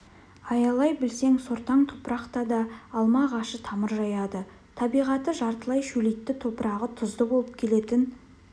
аялай білсең сортаң топырақта да алма ағашы тамыр жаяды табиғаты жартылай шөлейтті топырағы тұзды болып келетін